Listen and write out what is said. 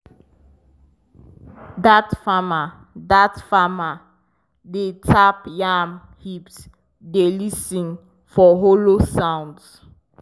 dat farmer dat farmer dey tap yam heaps dey lis ten for hollow sounds.